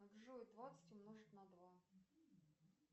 джой двадцать умножить на два